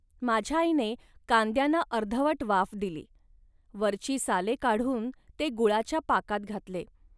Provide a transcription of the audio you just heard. माझ्या आईने कांद्यांना अर्धवट वाफ दिली. वरची साले काढून ते गुळाच्या पाकात घातले